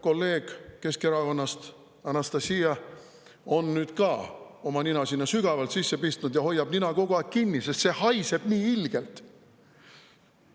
Kolleeg Keskerakonnast, Anastassia on nüüd ka oma nina sinna sügavalt sisse pistnud ja hoiab nina kogu aeg kinni, sest see haiseb nii ilgelt.